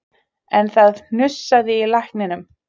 En það hnussaði í lækninum